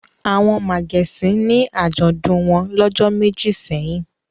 Àwọn màgẹ̀sín ní àjọ̀dún wọn lọ́jọ́ méjì sẹ́yìn.